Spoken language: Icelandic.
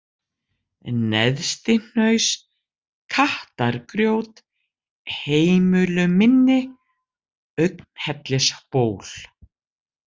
Neðstihnaus, Kattargrjót, Heimulumynni, Augnhellisból